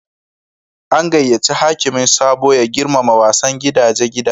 An gayace hakimin Sabo ya girmama wasan gidaje gidajen.